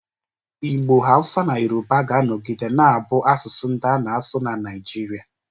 Igbo, Hausa na Yoruba ga-anọgide na-abụ asụsụ ndị a na-asụ na Naịjirịa